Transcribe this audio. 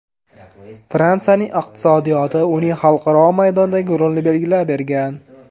Fransiyaning iqtisodiyoti uning xalqaro maydondagi rolini belgilab bergan.